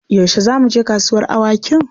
Yaushe za mu je kasuwar awakin?